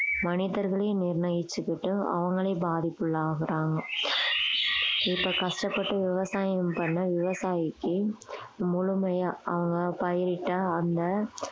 மனிதர்களே நிர்ணயிச்சுக்கிட்டு அவங்களே பாதிப்புக்குள்ளாகுறாங்க இப்ப கஷ்டப்பட்டு விவசாயம் பண்ண விவசாயிக்கு முழுமையா அவங்க பயிரிட்ட அந்த